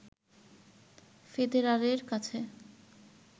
ফেদেরারের কাছে